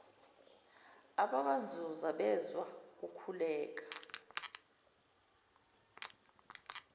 abakwanzuza bezwa kukhuleka